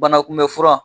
Banakunbɛn fura